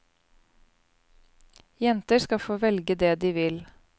Jenter skal få velge det de vil.